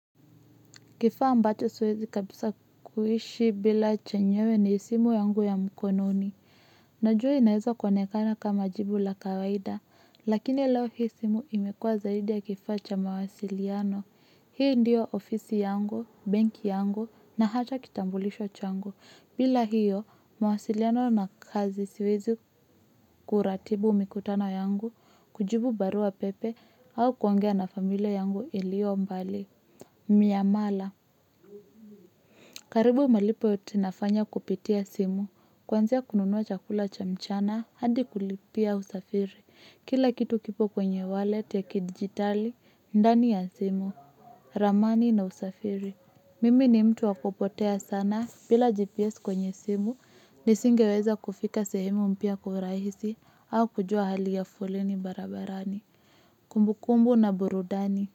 Kifaa ambacho siwezi kabisa kuishi bila chenyewe ni simu yangu ya mkononi. Najua inaeza kuonekana kama jibu la kawaida, lakini lao hisimu imekua zaidi ya kifacha mawasiliano. Hii ndiyo ofisi yangu, benki yangu, na hata kitambulisho changu. Bila hiyo, mawasiliano na kazi siwezi kuratibu mikutano yangu, kujibu barua pepe, au kwongea na familia yangu ilio mbali. Miyamala karibu malipo yote nafanya kupitia simu, kwanzia kununua chakula chamchana hadi kulipia usafiri. Kila kitu kipo kwenye wallet ya kidigitali, ndani ya simu, ramani na usafiri. Mimi ni mtu wakupotea sana bila GPS kwenye simu, nisingeweza kufika sehemu mpia kwa uhuraisi au kujua hali ya foleni barabarani. Kumbukumbu na burudani.